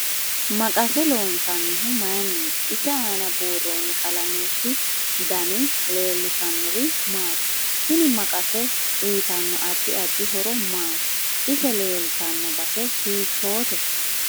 Maqase loonsanihu mayiiniti ise aana buurooni qalameti dani leelishanori maati tini maqase uyiitanno addi addi horo maati ise leeltano base hiitoote